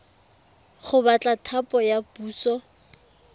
go batla thapo ya puso